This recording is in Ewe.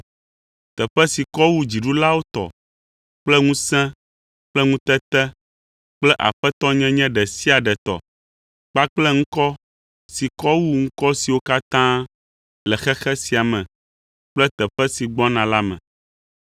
Teƒe si kɔ wu dziɖulawo tɔ kple ŋusẽ kple ŋutete kple aƒetɔnyenye ɖe sia ɖe tɔ, kpakple ŋkɔ si kɔ wu ŋkɔ siwo katã le xexe sia me kple xexe si gbɔna la me.